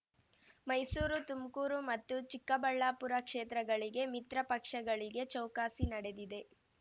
ಮೈಸೂರು ತುಮ್ಕೂರು ಮತ್ತು ಚಿಕ್ಕಬಳ್ಳಾಪುರ ಕ್ಷೇತ್ರಗಳಿಗೆ ಮಿತ್ರ ಪಕ್ಷಗಳಿಗೆ ಚೌಕಾಸಿ ನಡೆದಿದೆ